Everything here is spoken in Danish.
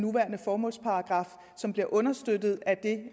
nuværende formålsparagraf som bliver understøttet af det